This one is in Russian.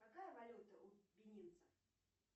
какая валюта у бенинцев